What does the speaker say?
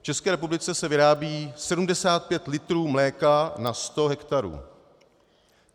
V České republice se vyrábí 75 litrů mléka na sto hektarů.